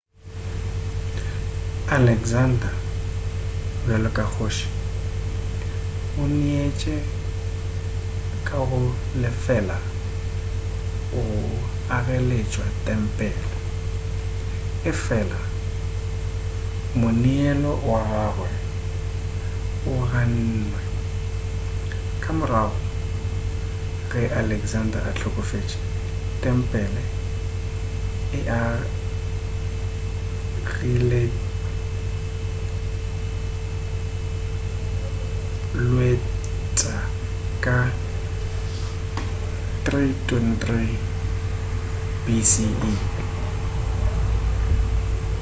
alexander bjalo ka kgoši o neetše ka go lefela go agaleswa tempele efela moneelo wa gagwe o gannwe ka morago ge alexander a hlokofetše tempele e agilweleswa ka 323 bce